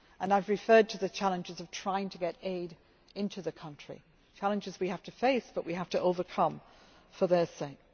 I have referred to the challenges of trying to get aid into the country challenges that we have to face but which we have to overcome for their sake.